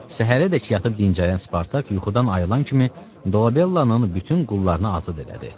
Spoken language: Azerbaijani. Səhərəcək yatıb dincələn Spartak yuxudan ayılan kimi Dolabellanın bütün qullarını azad elədi.